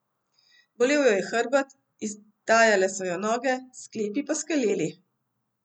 Bolel jo je hrbet, izdajale so jo noge, sklepi pa skeleli.